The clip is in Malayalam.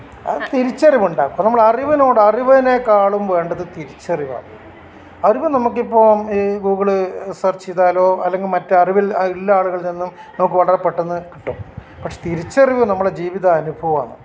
തിരിച്ചറിവുണ്ടാകണം നമ്മൾ അറിവിനോട് അറിവിനേക്കാളും വേണ്ടത് തിരിച്ചറിവാണ്. അറിവ് നമ്മുകിപ്പോം ഈ ഗൂഗ്ൾ സേർച്ച് ചെയ്താലോ അല്ലെങ്കി മറ്റ് അറിവുള്ള ആളുകളിൽ നിന്നും നമുക്ക് വളരെ പെട്ടന്ന് കിട്ടും പക്ഷെ തിരിച്ചറിവ് നമ്മുടെ ജീവിതാനുഭവമാണ്